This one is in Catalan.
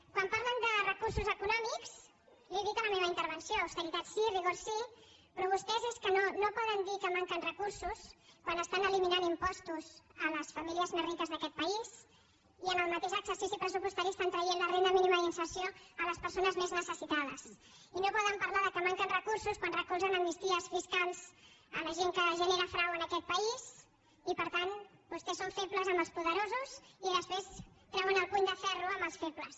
quan parlen de recursos econòmics li ho he dit en la meva intervenció austeritat sí rigor sí però vostès és que no poden dir que manquen recursos quan estan eliminant impostos a les famílies més riques d’aquest país i en el mateix exercici pressupostari estan traient la renda mínima d’inserció a les persones més necessitades i no poden parlar que manquen recursos quan recolzen amnisties fiscals la gent que genera frau en aquest país i per tant vostès són febles amb els poderosos i després treuen el puny de ferro amb els febles